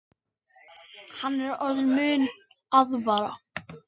Hann er orðinn munaðarvara